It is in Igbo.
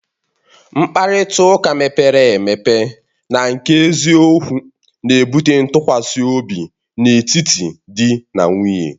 Mkparịta ụka mepere emepe na nke eziokwu na-ebute ntụkwasị obi n'etiti di na nwunye